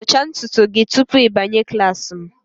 dụchaa ntutu gị tupu ị banye klas m